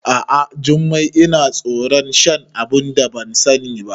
A'a Jummai, Ina tsoron shan abunda ban sani ba